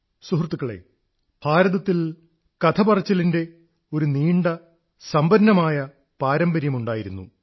സുഹൃത്തുക്കളേ ഭാരതത്തിൽ കഥ പറച്ചിലിന്റെ ഒരു നീണ്ട സമ്പന്നമായ പാരമ്പര്യമുണ്ടായിരുന്നു